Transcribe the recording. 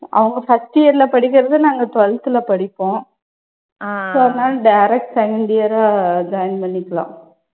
அவங்க first year ல படிக்கறது நாங்க twelfth ல படிப்போம். So அதனால direct second year ஆ joint பண்ணிக்கலாம்.